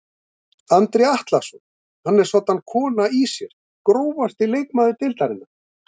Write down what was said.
Andri Atlason hann er soddan kona í sér Grófasti leikmaður deildarinnar?